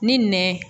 Ni nɛn